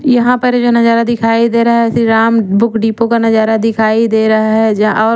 यहाँ पर जो य नजारा दिखा दे रहा ह श्री राम बुक डिपो का नजारा दिखाई दे रहा हे और --